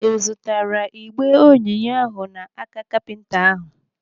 Ị zụtara igbe onyinye ahụ n'aka kapinta ahụ?